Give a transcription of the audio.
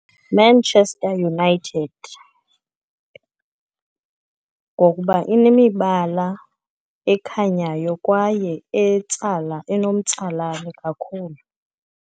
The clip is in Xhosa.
Manchester United, ngokuba inemibala ekhanyayo kwaye etsala enomtsalane kakhulu.